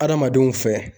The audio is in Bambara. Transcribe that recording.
Adamadenw fɛ